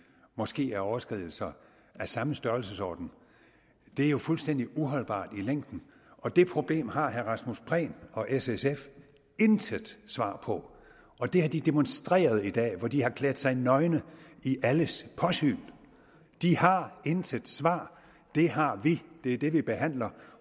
måske er overskridelser af samme størrelsesorden det er jo fuldstændig uholdbart i længden og det problem har herre rasmus prehn og s sf intet svar på og det har de demonstreret i dag hvor de har klædt sig nøgne i alles påsyn de har intet svar det har vi det er det vi behandler